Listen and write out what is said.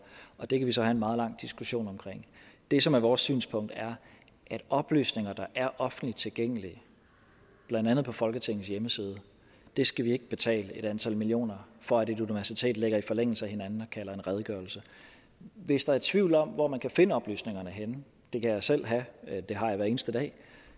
og det kan vi så have en meget lang diskussion om det som er vores synspunkt er at oplysninger der er offentligt tilgængelige blandt andet på folketingets hjemmeside skal vi ikke betale et antal millioner for at et universitet lægger i forlængelse af hinanden og kalder en redegørelse hvis der er tvivl om hvor man kan finde oplysningerne det kan jeg selv have det har jeg hver eneste dag